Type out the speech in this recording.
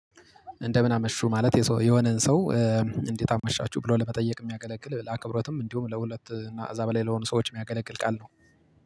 እንደ ምን አመሹ ማለት የሰው የሆነን ሰው እ እንዴት አመሻችሁ ብሎ ለመጠየቅ የሚያገለግል ለአክብሮትም እንዲሁም ለሁለት እና እዛ በላይ ለሆኑ ሰዎች የሚያገለግል ቃል ነው